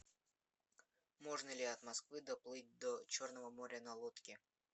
можно ли от москвы доплыть до черного моря на лодке